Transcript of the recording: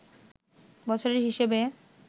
বছরের হিসেবে